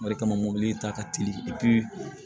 O de kama mobili ta ka teli